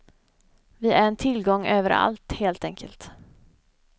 Vi är en tillgång överallt, helt enkelt.